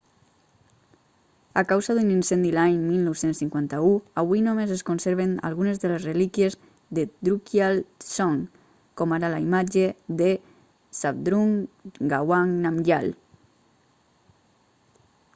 a causa d'un incendi l'any 1951 avui només es conserven algunes de les relíquies de drukgyal dzong com ara la imatge de zhabdrung ngawang namgyal